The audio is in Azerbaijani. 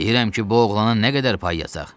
Deyirəm ki, bu oğlana nə qədər pay yazaq?